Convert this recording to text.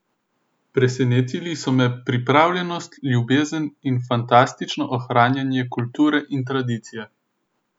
Presenetili so me pripravljenost, ljubezen in fanatično ohranjanje kulture in tradicije.